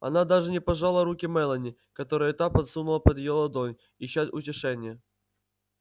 она даже не пожала руки мелани которую та подсунула под её ладонь ища утешения